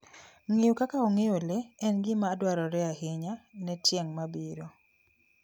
Ng'eyo kaka ong'eyo le en gima dwarore ahinya ne tieng ' mabiro.